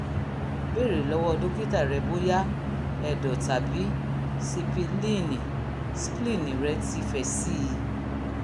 bèèrè lọ́wọ́ dókítà rẹ bóyá ẹ̀dọ̀tàbí sípílíìnì spleen rẹ ti fẹ̀ sí i